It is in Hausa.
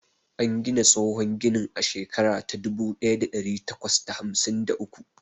An gina tsohon ginin a shekara ta dubu ɗaya da ɗari takwas da hamsin da uku.